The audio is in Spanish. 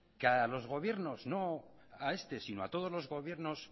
que a los gobiernos no solo a este sino a todos los gobiernos